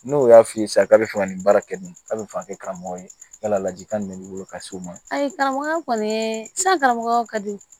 N'o y'a f'i ye sa k'a bɛ fɛ ka nin baara kɛ nin a bɛ fɛ ka kɛ karamɔgɔ ye yalaji kan min b'i bolo ka s'o ma ayi karamɔgɔya kɔni sara o ka di